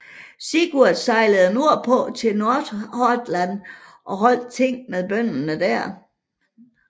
Sigurd sejlede nordpå til Nordhordland og holdt ting med bønderne der